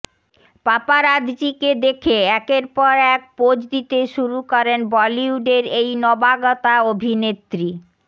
পাপারাতজিকে দেখে একের পর এক পোজ দিতে শুরু করেন বলিউডের এই নবাগতা অভিনেত্রী